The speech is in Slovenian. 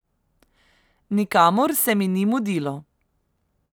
Nikamor se mi ni mudilo.